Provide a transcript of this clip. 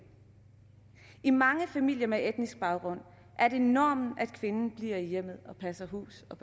i mange familier med etnisk baggrund er det normen at kvinden bliver i hjemmet og passer hus og